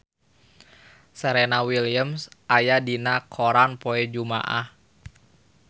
Serena Williams aya dina koran poe Jumaah